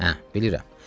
Hə, bilirəm.